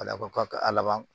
A laban a laban